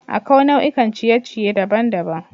Akwai nau'ikan ciye-ciye daban-daban.